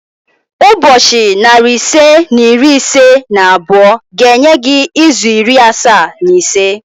Ụbọchị narị ise na iri ise na abụọ ga-enye gị izu iri asaa na ise